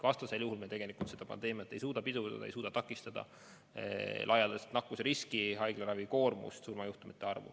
Vastasel juhul me ei suuda pandeemiat pidurdada, ei suuda laialdaselt nakkusriski takistada, hoida ära haiglaravikoormust ja surmajuhtumeid.